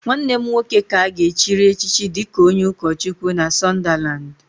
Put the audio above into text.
nwanne m nwoke ka a ga-echiri echichi dịka onye ụkọchukwu na Sunderland